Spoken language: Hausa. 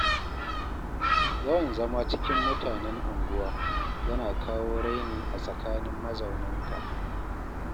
Yawan zama cikin mutanen unguwa, yana kawo raini a tsakanin mazaunanta.